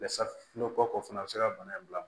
o fana bɛ se ka bana in bila